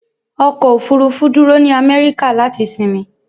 Ọkọ̀ òfúrúfú dúró ní Amẹ́ríkà láti sinmi.